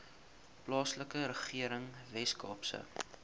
plaaslike regering weskaapse